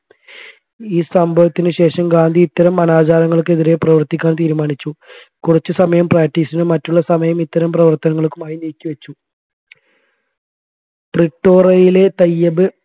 ഈ സംഭവത്തിന് ശേഷം ഗാന്ധി ഇത്തരം അനാചാരങ്ങൾക്കെതിരെ പ്രവർത്തിക്കാൻ തീരുമാനിച്ചു കുറച്ച് സമയം practice നും മറ്റുള്ള സമയം ഇത്തരം പ്രവർത്തനങ്ങൾക്കുമായി നീക്കിവെച്ച . പ്രിട്ടോറയിലെ തയ്യബ്